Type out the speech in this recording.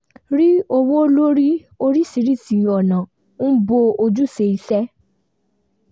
rí owó lórí oríṣìíríṣìí ọ̀nà ń bọ ojúṣé isẹ́